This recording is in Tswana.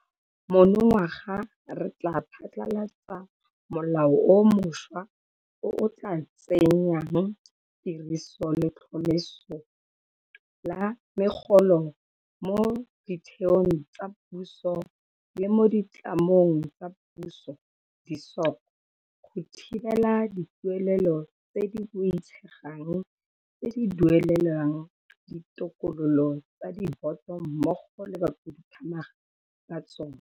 Monongwaga re tla phasala tsa molao o mošwa o o tla tsenyang tirisong letlhomeso la megolo mo ditheong tsa puso le mo ditlamong tsa Puso, di-SOC, go thibela dituelelo tse di boitshegang tse di duelelwang ditokololo tsa diboto mmogo le bakhuduthamaga ba tsona.